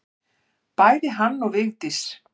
Bæði hann og Vigdísi.